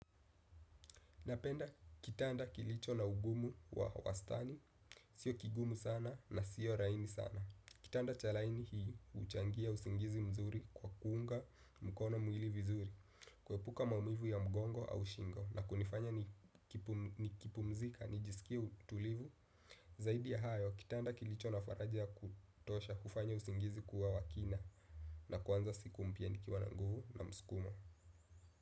Napenda kitanda kilicho na ugumu wa wastani, sio kigumu sana na sio rahisi sana. Kitanda cha laini hii uchangia usingizi mzuri kwa kuunga mkono mwili vizuri. Kuepuka maumivu ya mgongo au shingo na kunifanya ni kipumzika, nijiskie tulivu. Zaidi ya hayo, kitanda kilicho na faraja ya kutosha hufanya usingizi kuwa wa kina. Na kuanza siku mpya nikiwa na nguvu na msukumo.